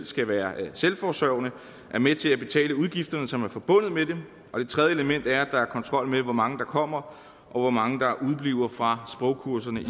skal være selvforsørgende er med til at betale udgifterne som er forbundet med det og det tredje element er at der er kontrol med hvor mange der kommer og hvor mange der udebliver fra sprogkurserne i